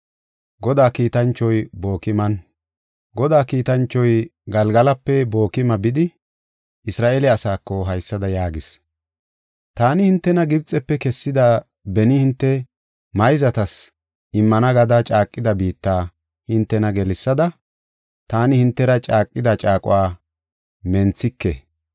Godaa kiitanchoy Galgalape Bookima bidi, Isra7eele asaako haysada yaagis; “Taani hintena Gibxefe kessada beni hinte mayzatas immana gada caaqida biitta hintena gelsada, ‘Taani hintera caaqida caaquwa menthike;